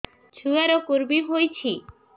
ଛୁଆ ର କୁରୁମି ହୋଇଛି